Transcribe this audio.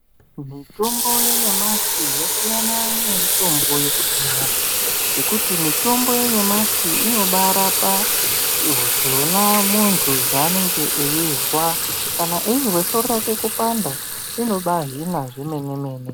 Mitombo yenyamashi yasiyana nemitombo yekudhaya ngekuti mitombo yanyamashi inobarapa mshuna muntu zvaanenge eizwa kana eizwe soro rake kupanda inobahina zvemene mene